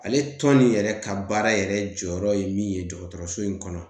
Ale tɔn nin yɛrɛ ka baara yɛrɛ jɔyɔrɔ ye min ye dɔgɔtɔrɔso in kɔnɔ.